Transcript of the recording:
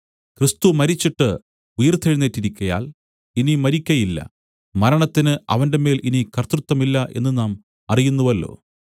ക്രിസ്തു മരിച്ചിട്ട് ഉയിർത്തെഴുന്നേറ്റിരിക്കയാൽ ഇനി മരിക്കയില്ല മരണത്തിന് അവന്റെമേൽ ഇനി കർത്തൃത്വമില്ല എന്നു നാം അറിയുന്നുവല്ലോ